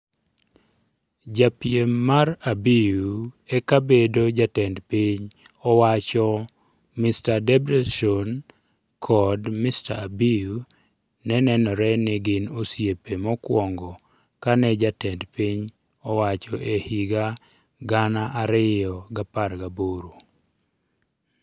Japiem mar Abiy e kabedo jatend piny owacho Mr. Debretsion kod Mr. Abiy ne nenore ni gin osiepe mokuongo kane jatend piny owacho e higa 2018.